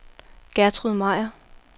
Gertrud Meyer